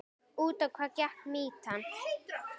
Út á hvað gekk mýtan?